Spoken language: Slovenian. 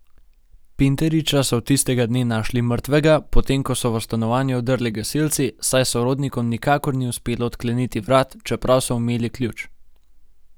Pinteriča so tistega dne našli mrtvega, potem ko so v stanovanje vdrli gasilci, saj sorodnikom nikakor ni uspelo odkleniti vrat, čeprav so imeli ključ.